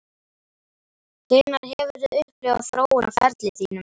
Hvenær hefurðu upplifað þróun á ferli þínum?